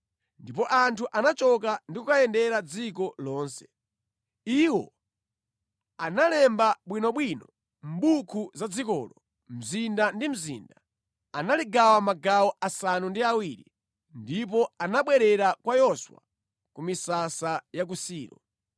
Ndipo anthu anachoka ndi kukayendera dziko lonse. Iwo analemba bwinobwino mʼbuku za dzikolo, mzinda ndi mzinda. Analigawa magawo asanu ndi awiri, ndipo anabwerera kwa Yoswa ku misasa ya ku Silo.